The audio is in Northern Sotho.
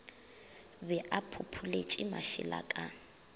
be a phopholetše mašela ka